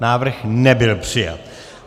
Návrh nebyl přijat.